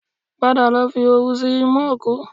Padà lọ fi òwú sí imú òkú